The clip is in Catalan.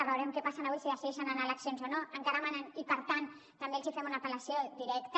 veurem què passa avui si decideixen anar a eleccions o no encara manen i per tant els fem una apel·lació directa